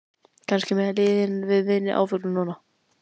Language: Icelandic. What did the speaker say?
Kannski mega liðin við minni áföllum núna?